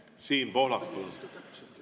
Siin Pohlak, palun!